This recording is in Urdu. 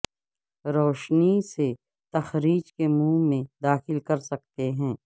روشنی سے تخریج کے منہ میں داخل کر سکتے ہیں